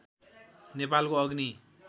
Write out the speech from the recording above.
नेपालको अग्नि